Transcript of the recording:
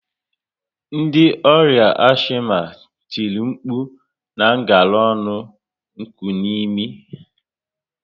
Ndi ọrià ashima tìrì nkpu na ngala ọnụ nkunimi